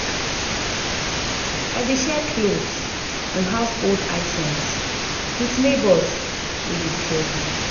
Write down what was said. I dey share clothes and household items with neighbors wey dey struggle.